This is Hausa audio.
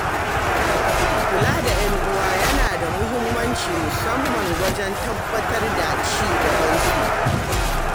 Kula da 'yan'uwa yana da mahimmanci musamman wajen tabbatar da ci gabansu.